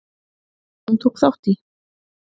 Hún tók þátt í